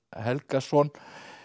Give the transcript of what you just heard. Helgason